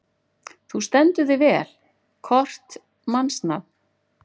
Þú stendur þig vel, Kort (mannsnafn)!